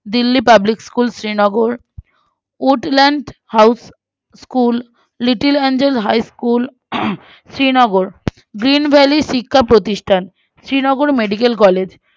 Delhi public school Srinagar Woodland House School Little Angel High School হম Srinagar Green Valley শিক্ষা প্রতিষ্ঠান Srinagar Medical College